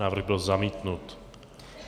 Návrh byl zamítnut.